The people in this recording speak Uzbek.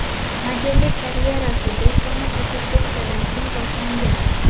Modellik karyerasi do‘stona fotosessiyadan keyin boshlangan.